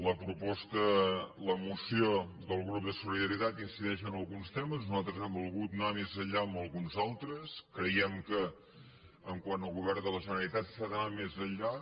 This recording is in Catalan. la moció del grup de solidaritat incideix en alguns temes nosaltres hem volgut anar més enllà en alguns altres creiem que quant al govern de la generalitat s’ha d’anar més enllà